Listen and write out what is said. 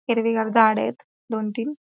हिरवीगार झाडेत दोन तीन --